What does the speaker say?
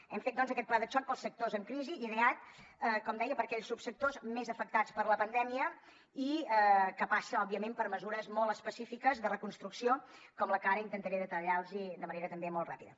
hem fet doncs aquest pla de xoc per als sectors en crisi ideat com deia per a aquells subsectors més afectats per la pandèmia i que passa òbviament per mesures molt específiques de reconstrucció com la que ara intentaré detallar los de manera també molt ràpida